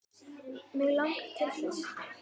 Mig langar til þess.